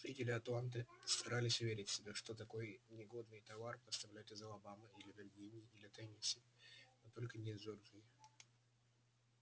жители атланты старались уверить себя что такой негодный товар поставляют из алабамы или виргинии или теннесси но только не из джорджии